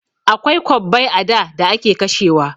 Akwai kwabbai a da da ake kashewa.